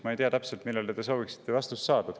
Ma ei tea, millele te täpselt sooviksite vastust saada.